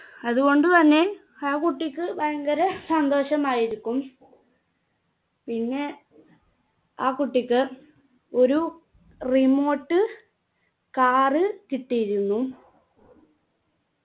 അതുകൊണ്ടുതന്നെ ആ കുട്ടിക്ക് ഭയങ്കര സന്തോഷമായിരിക്കും പിന്നെ ആ കുട്ടിക്ക് ഒരു remote car കിട്ടിയിരുന്നു